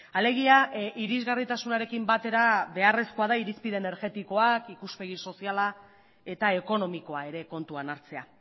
alegia irisgarritasunarekin batera beharrezkoa da irizpide energetikoak ikuspegi soziala eta ekonomikoa ere kontuan hartzea